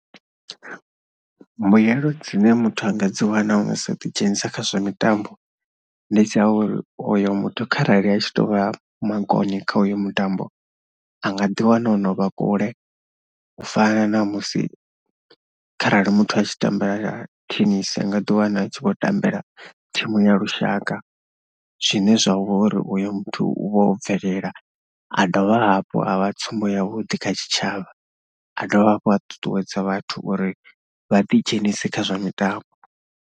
Mbuyelo dzine muthu a nga dzi wana musi o ḓidzhenisa kha zwa mitambo ndi dza uri oyo muthu kharali a tshi tou vha makone kha uyo mutambo, a nga ḓiwana o no vha kule u fana na musi kharali muthu a tshi tambela themu nga ḓiwana a tshi vho tambela thimu ya lushaka. Zwine zwa vha uri uyo muthu u vha o bvelela, a dovha hafhu a vha tsumbo yavhuḓi kha tshitshavha. A dovha hafhu a ṱuṱuwedza vhathu uri vha ḓidzhenise kha zwa mitambo.